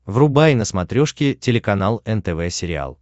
врубай на смотрешке телеканал нтв сериал